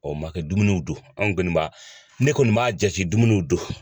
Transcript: Ɔ man kɛ dumuniw do anw kɔni n m'a ne kɔni m'a jate dumuniw do.